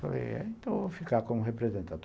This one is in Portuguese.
Falei, então eu vou ficar como representante.